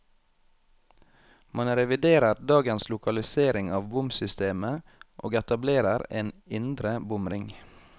Man reviderer dagens lokalisering av bomsystemet, og etablerer en indre bomring.